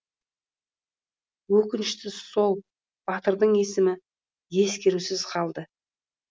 өкініштісі сол батырдың есімі ескерусіз қалды